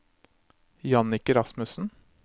Jannicke Rasmussen